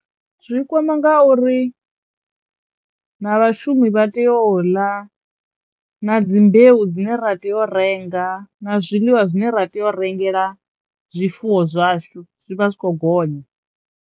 Zwi kwama ngauri na vhashumi vha teyo u ḽa na dzi mbeu dzine ra teyo u renga na zwiḽiwa zwine ra teyo rengela zwifuwo zwashu zwi vha zwi khou gonya.